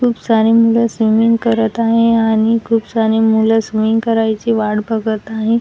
खुब सारे मुलं स्विमिंग करत आहे आणि खूप सारे मुलं स्विमिंग करायचे वाट बघत आहे.